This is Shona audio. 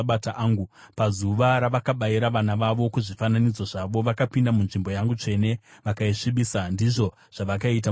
Pazuva ravakabayira vana vavo, kuzvifananidzo zvavo, vakapinda munzvimbo yangu tsvene vakaisvibisa. Ndizvo zvavakaita mumba mangu.